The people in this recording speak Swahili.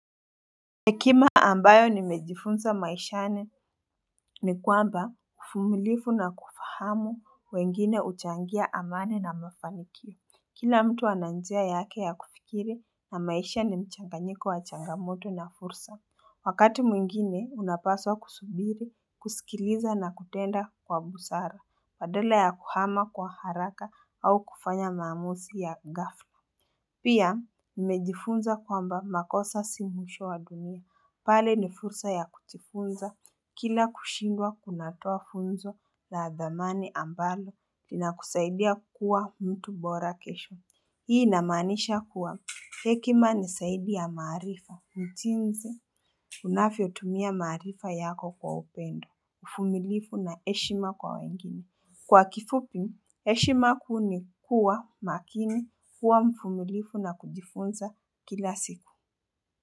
Hekima ambayo nimejifunza maishani ni kwamba uvumilifu na kufahamu wengine huchangia amani na mafanikio. Kila mtu ana njia yake ya kufikiri na maisha ni mchanganyiko wa changamoto na fursa. Wakati mwingine unapaswa kusubiri, kusikiliza na kutenda kwa busara, badala ya kuhama kwa haraka au kufanya maamuzi ya gafla. Pia nimejifunza kwamba makosa si mwisho wa dunia pale ni fursa ya kujifunza kila kushindwa kunatoa funzo la dhamani ambalo linakusaidia kuwa mtu bora kesho Hii inamanisha kuwa hekima ni zaidi ya maarifa mtiunze Unavyotumia maaarifa yako kwa upendo mvumilifu na heshima kwa wengine Kwa kifupi, heshima kuu ni kuwa makini kuwa mvunulifu na kujifunza kila siku.